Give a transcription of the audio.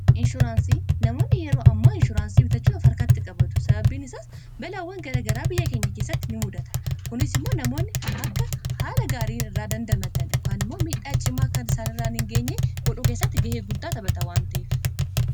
inshuraansii namoonni yeroo ammaa inshuuraansii bitachuuf arkaatti qabadu sababbiin isaas balaawwan garagaraa biyya keenya keessatti in mudata kunis immoo namoonni akka haala gaarii irraa dandamatan yookan immoo miidhaa cimaa akka isaanirra hingeenye godhuu keessatti ga'ee guddaa tabata waan ta'eef